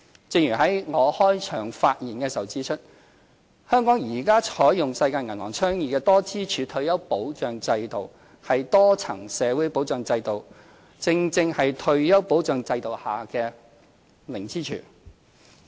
正如我在開場發言時指出，香港現時採用世界銀行倡議的多支柱退休保障制度，而多層社會保障制度正正是退休保障制度下的零支柱。